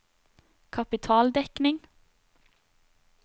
kapitaldekning